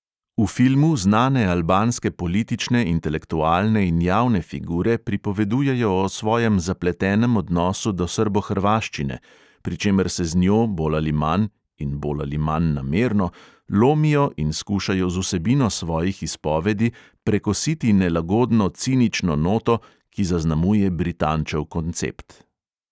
V filmu znane albanske politične, intelektualne in javne figure pripovedujejo o svojem zapletenem odnosu do srbohrvaščine, pri čemer se z njo bolj ali manj (in bolj ali manj namerno) lomijo in skušajo z vsebino svojih izpovedi prekositi nelagodno cinično noto, ki zaznamuje britančev koncept.